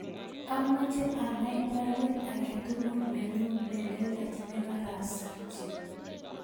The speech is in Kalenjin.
Amache anai baruet age tugul nenyun nelelach negarasich